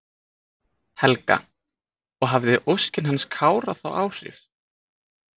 Helga: Og hafði óskin hans Kára þá áhrif?